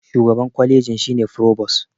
shugaban kwaliji shi ne frobos